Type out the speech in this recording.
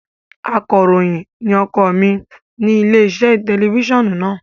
Akọ̀ròyìn ni ọkọ mi ní ilé-iṣẹ́ tẹlifíṣàn náà.